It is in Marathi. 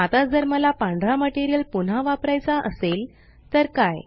आता जर मला पांढरा मटेरियल पुन्हा वापरायचा असेल तर काय